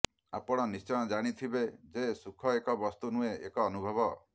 ଆପଣ ନିଶ୍ଚୟ ଜାଣିଥିବେ ଯେ ସୁଖ ଏକ ବସ୍ତୁ ନୁହେଁ ଏକ ଅନୁଭବ